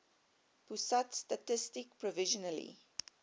pusat statistik provisionally